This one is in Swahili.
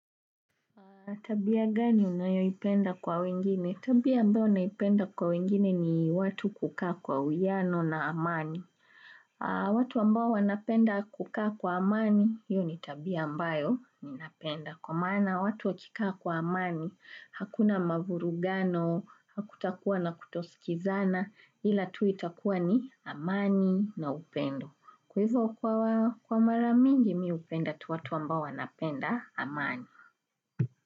Tabia gani unayo ipenda kwa wengine? Tabia ambao naipenda kwa wengine ni watu kukaa kwa uwiano na amani. Watu ambao wanapenda kukaa kwa amani, hiyo ni tabia ambayo ninapenda. Kwa maana watu wakikaa kwa amani, hakuna mavurugano, hakutakuwa na kutosikizana, ila tu itakuwa ni amani na upendo. Kwa hivyo kwa maramingi mi hupenda tu watu ambao wanapenda amani.